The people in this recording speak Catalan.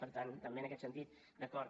per tant també en aquest sentit d’acord